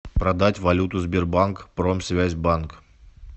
продать валюту сбербанк промсвязьбанк